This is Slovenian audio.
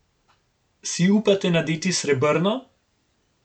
Si upate nadeti srebrno?